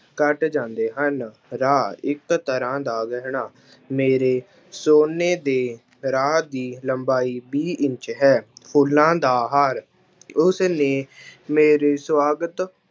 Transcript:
ਘੱਟ ਜਾਂਦੇ ਹਨ, ਰਾਹ ਇੱਕ ਤਰ੍ਹਾਂ ਦਾ ਗਹਿਣਾ, ਮੇਰੇ ਸੋਨੇ ਦੇ ਰਾਹ ਦੀ ਲੰਬਾਈ ਵੀਹ ਇੰਚ ਹੈ, ਫੁੱਲਾਂ ਦਾ ਹਾਰ ਉਸਨੇ ਮੇਰੇ ਸਵਾਗਤ